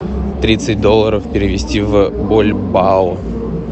тридцать долларов перевести в бальбоа